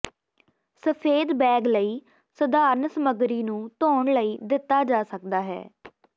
ਸਫੈਦ ਬੈਗ ਲਈ ਸਧਾਰਣ ਸਮਗਰੀ ਨੂੰ ਧੋਣ ਲਈ ਦਿੱਤਾ ਜਾ ਸਕਦਾ ਹੈ